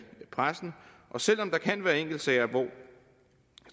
pressen og selv om der kan være enkeltsager hvor jeg